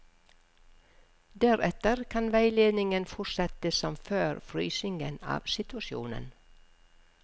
Deretter kan veiledningen fortsette som før frysingen av situasjonen.